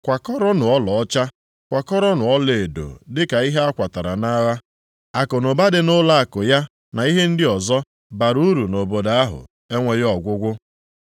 Kwakọrọnụ ọlaọcha, kwakọrọnụ ọlaedo dịka ihe a kwatara nʼagha. Akụnụba dị nʼụlọakụ ya na ihe ndị ọzọ bara uru nʼobodo ahụ, enweghị ọgwụgwụ.